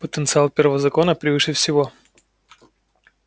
потенциал первого закона превыше всего